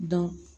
Dɔn